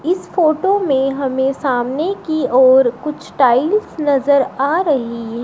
इस फोटो में हमें सामने की ओर कुछ टाइल्स नजर आ रही हैं।